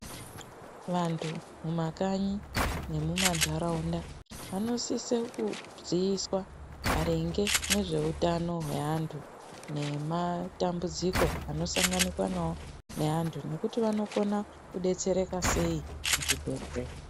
Vandu mumakanyi nemumandaraunda vanosise kuziiswa maringe ngezveutano wevandu nematambudziko anosanganika nevandu nekuti vanokona kubetsereka seii muzvibhedhleya.